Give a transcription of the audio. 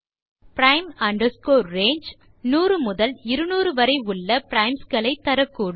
prime range 100 முதல் 200 வரை உள்ள பிரைம்ஸ் களை தரக்கூடும்